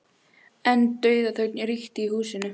En dauðaþögn ríkti í húsinu.